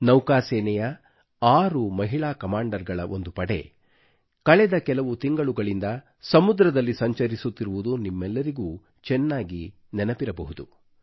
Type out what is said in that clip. ನೌಕಾ ಸೇನೆಯ ಆರು ಮಹಿಳಾ ಕಮಾಂಡರ್ ಗಳ ಒಂದು ಪಡೆಯು ಕಳೆದ ಕೆಲವು ತಿಂಗಳುಗಳಿಂದ ಸಮುದ್ರದಲ್ಲಿ ಸಂಚರಿಸುತ್ತಿರುವುದು ನಿಮ್ಮೆಲ್ಲರಿಗೂ ಚೆನ್ನಾಗಿ ನೆನಪಿರಬಹುದು